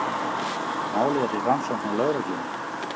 Málið er í rannsókn hjá lögreglunni